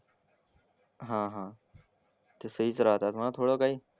हां हां. ते सहीच राहतात ना थोडं काही.